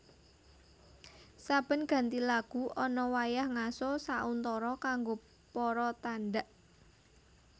Saben ganti lagu ana wayah ngaso sauntara kanggo para tandhak